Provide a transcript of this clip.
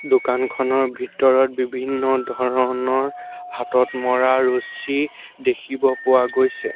দোকানখনৰ ভিতৰত বিভিন্ন ধৰণৰ হাতত মৰা ৰছী দেখিব পোৱা গৈছে।